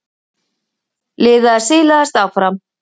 Liðið silaðist áfram.